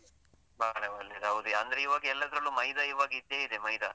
ಬಹಳ ಒಳ್ಳೆದು ಹೌದು, ಅಂದ್ರೆ ಇವಾಗ ಎಲ್ಲದ್ರಲ್ಲೂ ಮೈದಾ ಇವಾಗ ಇದ್ದೆ ಇದೆ ಮೈದಾ.